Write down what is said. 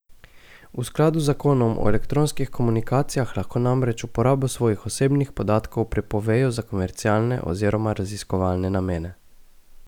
V skladu z zakonom o elektronskih komunikacijah lahko namreč uporabo svojih osebnih podatkov prepovejo za komercialne oziroma raziskovalne namene.